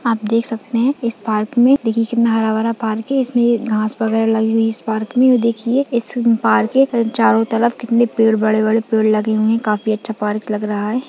आप देख सकते है इस पार्कमें दिल्लीके नारा वाला पार्क है इसमें घास वगैरा लगी हुई पार्क में देखिए इस पार्क के चारों तरफ कितने पेड़ बड़े-बड़े पेड़ लगे हुए है काफी अच्छा पार्क लग रहा है।